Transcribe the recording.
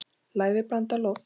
Lævi blandið loft.